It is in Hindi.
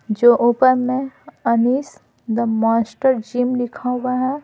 जो ऊपर में अनीश दा मास्टर जिम लिखा हुआ है।